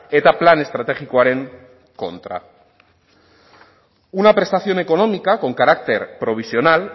eta plan estrategikoaren kontra una prestación económica con carácter provisional